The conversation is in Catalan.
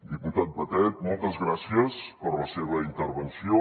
diputat batet moltes gràcies per la seva intervenció